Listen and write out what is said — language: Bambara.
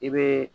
I bɛ